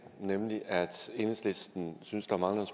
nemlig at enhedslisten synes der mangler